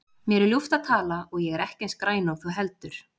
Mér er ljúft að tala og ég er ekki eins græn og þú heldur.